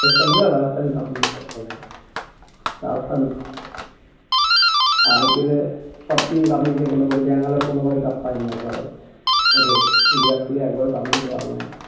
রাজস্থান ছিল রাজস্থান cup নিয়ে নিল প্রথমবার তারপর IPL সব team cup ই নিয়েছে মোটামুটি ব্যাঙ্গালোর কোনবাড়ী cup পায়নি একবারও ওদের বিরাট কোহলি একবারও কাপ নিতে পারল না